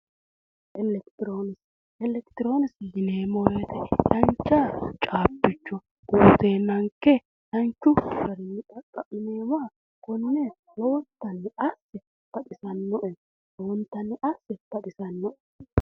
elekitiroonikise, elekitiroonikise yineemmo wote dancha caabbicho uuyiiteennanke danchu garinni xaqqa'mineemmoha konne lowontanni asse baxisannoe lowontanni asse